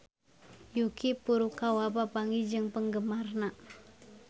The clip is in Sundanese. Yuki Furukawa papanggih jeung penggemarna